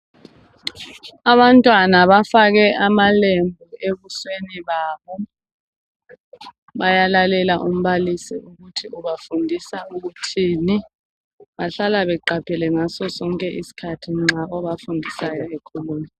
Abantwana bafake amalembu ebusweni babo, bayalalela umbalisi ukuthi ubafundisa ukuthini, bahlala beqaphele ngasosonke isikhathi nxa obafundisayo ekhuluma.